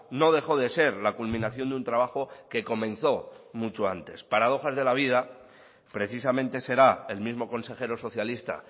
no dejó de ser la culminación de un trabajo que comenzó mucho antes paradojas de la vida precisamente será el mismo consejero socialista